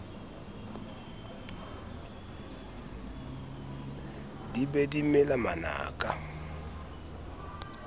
di be di mela manaka